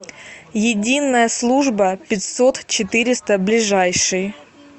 единая служба пятьсот четыреста ближайший